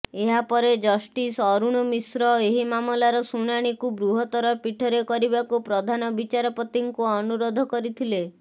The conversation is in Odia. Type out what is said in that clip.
ଏହାପରେ ଜଷ୍ଟିସ ଅରୁଣ ମିଶ୍ର ଏହି ମାମଲାର ଶୁଣାଣିକୁ ବୃହତ୍ତର ପୀଠରେ କରିବାକୁ ପ୍ରଧାନ ବିଚାରପତିଙ୍କୁ ଅନୁରୋଧ କରିଥିଲେ